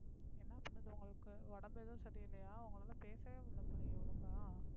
என்னா பண்ணுது உங்களுக்கு உடம்பு ஏதும் சரி இல்லையா உங்களால பேசவே முடியல போலயே ஒழுங்கா